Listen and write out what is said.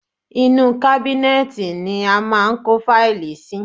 Inú u kábínẹ́ẹ̀tì ni a máa ń kó fáìlì sí.